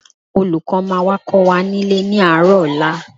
Olùkọ́ máa wá kọ́ wa nílé ní àárọ̀ ọ̀la